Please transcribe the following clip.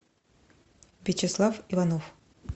вячеслав иванов